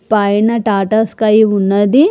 పైన ఆ టాటా స్కై ఉన్నదీ .